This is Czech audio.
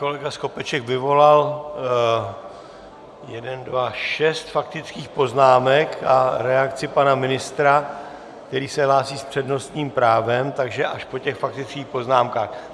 Kolega Skopeček vyvolat šest faktických poznámek a reakci pana ministra, který se hlásí s přednostním právem, takže až po těch faktických poznámkách.